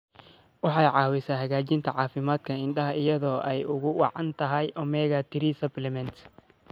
Waxay caawisaa hagaajinta caafimaadka indhaha iyada oo ay ugu wacan tahay omega-3 supplements.